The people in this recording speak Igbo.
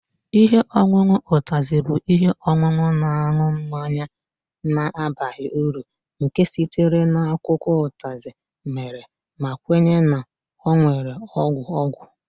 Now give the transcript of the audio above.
Ihe ọṅụṅụ Utazi bụ ihe ọṅụṅụ na-aṅụ mmanya na-abaghị uru nke sitere na akwụkwọ Utazi mere ma kwenye na ọ nwere ọgwụ ọgwụ